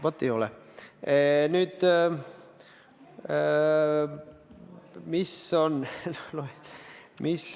Vaat ei ole!